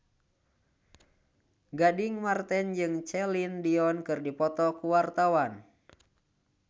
Gading Marten jeung Celine Dion keur dipoto ku wartawan